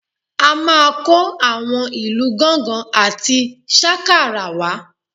A máa kó àwọn ìlù gángan àti sákàrà wá